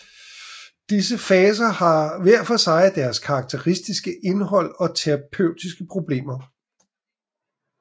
Disse faser har hver for sig deres karakteristiske indhold og terapeutiske problemer